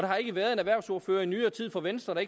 har ikke været en erhvervsordfører i nyere tid fra venstre